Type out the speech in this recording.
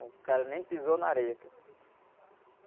O cara nem pisou na areia.